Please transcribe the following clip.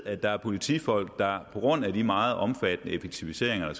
at der er politifolk der på grund af de meget omfattende effektiviseringer der